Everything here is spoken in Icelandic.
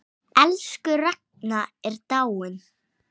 Elsku Ragna er dáin.